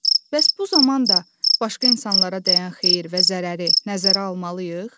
Bəs bu zaman da başqa insanlara dəyən xeyir və zərəri nəzərə almalıyıq?